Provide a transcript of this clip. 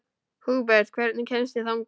Húbert, hvernig kemst ég þangað?